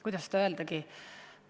Kuidas seda öeldagi?